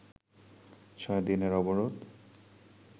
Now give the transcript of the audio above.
ছয় দিনের অবরোধ